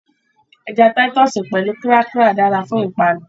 Ẹja Táítọ́ọ̀sì pẹ̀lú kírákà dára fún ìpanu